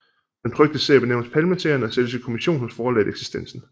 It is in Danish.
Den trykte serie benævnes Palmeserien og sælges i kommision hos forlaget Eksistensen